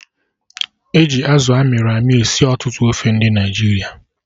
E ji Azụ amịrị amị esi ọtụtụ ofe ndị Naịjirịa